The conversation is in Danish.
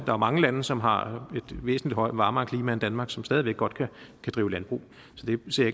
jo mange lande som har et væsentligt varmere klima end danmark og som stadig væk godt kan drive landbrug så det ser